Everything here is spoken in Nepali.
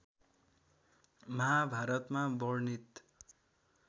महाभारतमा वर्णित